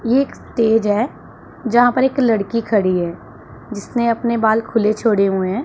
ये एक स्टेज है जहां पर एक लड़की खड़ी है जिसने अपने बाल खुले छोड़े हुए हैं।